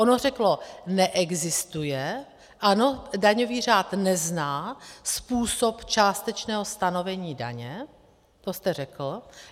Ono řeklo: neexistuje, ano, daňový řád nezná způsob částečného stanovení daně, to jste řekl.